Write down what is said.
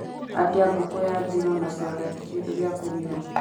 atia ngũkũ ya njino na soda ta kĩndũ gĩa kũnyua